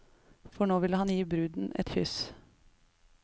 For nå vil han gi bruden et kyss.